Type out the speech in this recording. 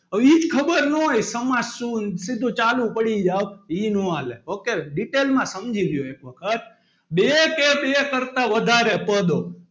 હવે એજ ખબર નાં હોય સમાસ શું? સીધો ચાલુ પડી જાય ઈ નો હાલે ok detail માં સમજી લો એક વખત બે કે બે કરતાં વધારે પદો,